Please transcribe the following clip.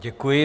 Děkuji.